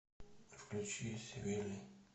включи свили